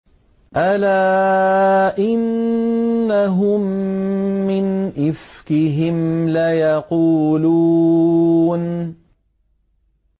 أَلَا إِنَّهُم مِّنْ إِفْكِهِمْ لَيَقُولُونَ